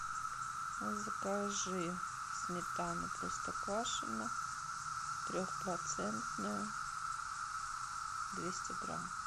закажи сметану простоквашино трехпроцентную двести грамм